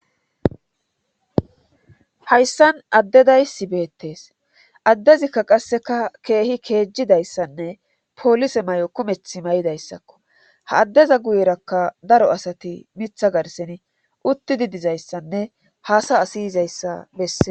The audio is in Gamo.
Hayssan addedaysi beettees addezikka qasseka keehi keejjidayssanne poolise may7o kumeth may7idayssakko ha addeza guyerakka daro asati mitha garseni uttidi dizayssanne haasa asi yizayssa besse.